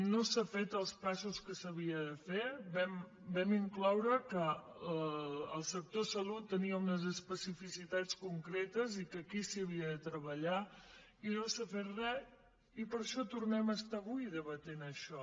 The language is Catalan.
no s’han fet els passos que s’havien de fer vam incloure que el sector salut tenia unes especificitats concretes i que aquí s’havia de treballar i no s’ha fet re i per això tornem a estar avui debatent això